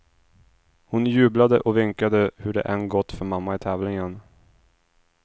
Hon jublade och vinkade hur än det än gått för mamma i tävlingen.